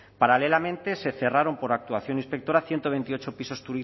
paralelamente se cerraron por actuación inspectora ciento veintiocho pisos